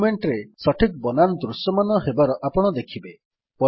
document ରେ ସଠିକ୍ ବନାନ ଦୃଶ୍ୟମାନ ହେବାର ଆପଣ ଦେଖିବେ